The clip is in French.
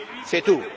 C'est tout.